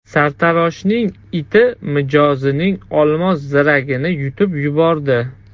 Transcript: Sartaroshning iti mijozining olmos ziragini yutib yubordi.